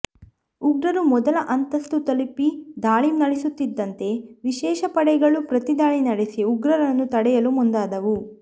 ಉಗ್ರರು ಮೊದಲ ಅಂತಸ್ತು ತಲುಪಿ ದಾಳಿ ನಡೆಸುತ್ತಿದಂತೆ ವಿಶೇಷ ಪಡೆಗಳು ಪ್ರತಿದಾಳಿ ನಡೆಸಿ ಉಗ್ರರನ್ನು ತಡೆಯಲು ಮುಂದಾದವು